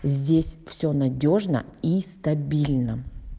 здесь все надёжно и стабильно